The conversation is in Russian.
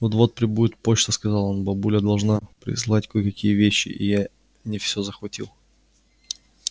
вот-вот прибудет почта сказал он бабуля должна прислать кое-какие вещи я не всё захватил